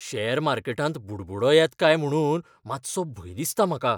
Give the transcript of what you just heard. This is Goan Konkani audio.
शॅर मार्केटांत बुडबुडो येत काय म्हुणून मातसो भंय दिसता म्हाका.